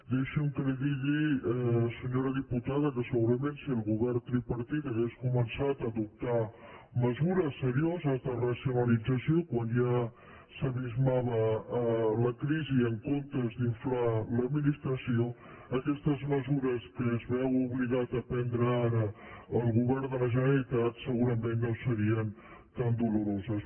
deixi’m que li digui senyora diputada que segurament si el govern tripartit hagués començat a adoptar mesures serioses de racionalització quan ja s’abismava la crisi en comptes d’inflar l’administració aquestes mesures que es veu obligat a prendre ara el govern de la generalitat segurament no serien tan doloroses